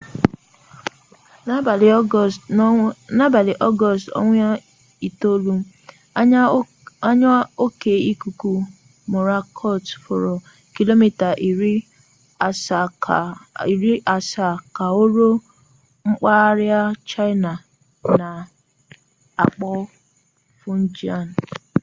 n'abalị ọgọọst 9 anya oke ikuku mọrakọt fọrọ kilomita iri asaa ka o ruo mpaghara chaịna a na-akpọ fujian